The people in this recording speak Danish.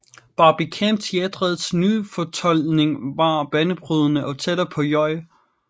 Barbican Teatrets nyfortolkning var banebrydende og tættere på J